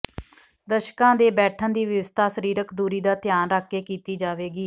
ਦਰਸ਼ਕਾਂ ਦੇ ਬੈਠਣ ਦੀ ਵਿਵਸਥਾ ਸਰੀਰਕ ਦੂਰੀ ਦਾ ਧਿਆਨ ਰੱਖ ਕੇ ਕੀਤੀ ਜਾਵੇਗੀ